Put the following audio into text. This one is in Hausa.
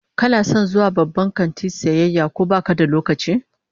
Kana son zuwa babban kanti sayayya ko baka da lokaci?